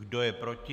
Kdo je proti?